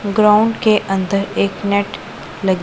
ground के अंदर एक नेट लगी--